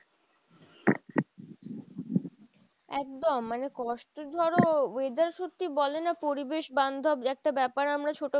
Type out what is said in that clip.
একদম মানে কষ্ট ধরো weather সত্যি বলে না পরিবেশ বান্ধব একটা ব্যাপার আমরা ছোট